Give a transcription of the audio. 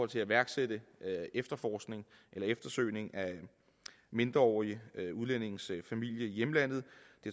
til at iværksætte eftersøgning af mindreårige udlændinges familie i hjemlandet